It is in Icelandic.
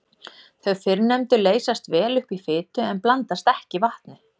Þau fyrrnefndu leysast vel upp í fitu en blandast ekki vatni.